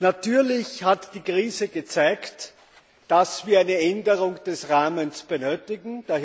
Natürlich hat die Krise gezeigt, dass wir eine Änderung des Rahmens benötigen.